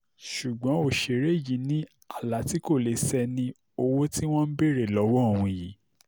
ṣùgbọ́n òṣèré yìí ní àlá tí kò lè ṣẹ ni owó tí wọ́n ń béèrè lọ́wọ́ òun yìí